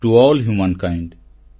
to all humankind